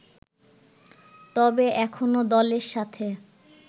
তবে এখনও দলের সাথে